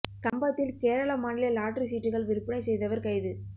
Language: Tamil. கம்பத்தில் கேரள மாநில லாட்டரி சீட்டுகள் விற்பனை செய்தவா் கைது